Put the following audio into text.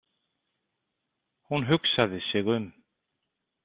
Hún hugsaði sig um.